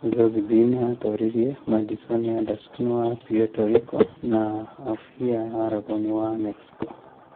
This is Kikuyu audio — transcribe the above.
Zozibini aatooririe Madison Anderson wa Puerto Rico na Aofia Aragon wa Mexico.